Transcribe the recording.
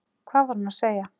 Hvað var hún að segja?